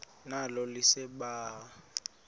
nalo lise libaha